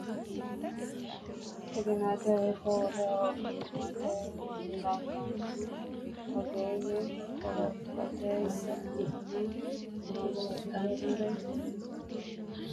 Xaginaatehono ikko wole ogimmate ragaanni ogeeyye qorophote yineenna horoonsidhannore kula dandiinanni Xaginaatehono ikko wole ogimmate ragaanni ogeeyye qorophote yineenna horoonsidhannore.